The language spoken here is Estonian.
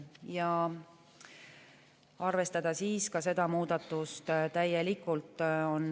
Valitsuse ettepanek on arvestada ka seda muudatust täielikult.